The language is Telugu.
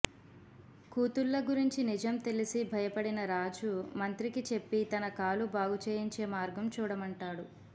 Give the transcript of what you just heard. కూతుళ్ళ గురించి నిజం తెలిసి భయపడిన రాజు మంత్రికి చెప్పి తన కాలు బాగుచేయించే మార్గం చూడమంటాడు